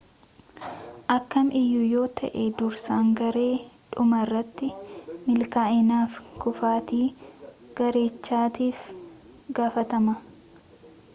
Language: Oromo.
akkam iyyuu yoo ta'e dursaan garee dhumarratti milkaa'inaafi kufaatii garechaatiif itti gaafatama